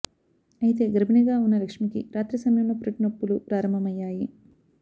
అయితే గర్భిణిగా ఉన్న లక్ష్మికి రాత్రి సమయంలో పురిటినొప్పులు ప్రారంభమయ్యాయి